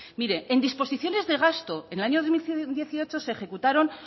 mire en disposiciones de gasto en el año dos mil dieciocho se ejecutaron